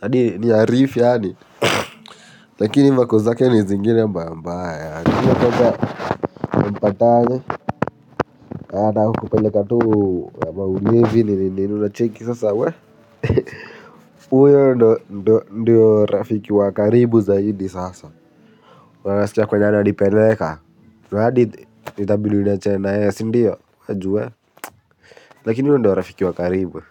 hani ni ya rif yaani lakini vako zake ni zingine mbaya mbaya anataka akukataze, anataka kukupeleka tu, maulevii nini nini unacheki sasa we. Uyo ndio rafiki wa karibu zaidi sasa na unacikia kwenye ananipeleka radi itabidi niachanye na yeye sindio juu we lakini uyo ndio rafiki wa karibu.